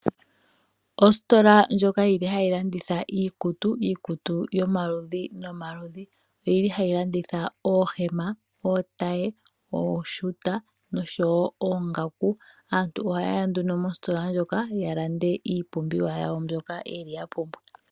Ostola ndjoka yili hayi landitha iikutu yomaludhi nomaludhi. Oyili hayi landitha oohema, otaye, oshuta noshowo oongaku. Aantu ohaye ya nduno mostola ndjoka ya lande iipumbiwa yawo mbyoka ya pumbwa.